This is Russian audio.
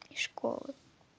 из школы